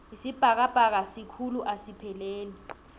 isibhakabhaka sikhulu asipheleli